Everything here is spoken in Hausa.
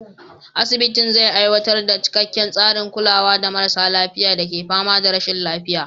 Asibitin zai aiwatar da cikakken tsarin kulawa ga marasa lafiya da ke fama da rashin lafiya.